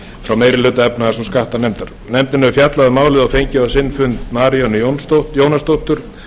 frá meiri hluta viðskipta og skattanefndar nefndin hefur fjallað um málið og fengið á sinn fund maríönnu jónasdóttur